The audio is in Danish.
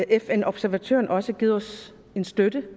fn observatøren også givet os støtte